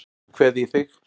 Nú kveð ég þig.